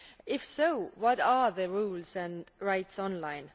If so, what are the rules and rights online?